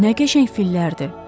Nə qəşəng fillərdir.